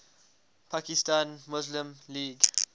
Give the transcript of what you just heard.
pakistan muslim league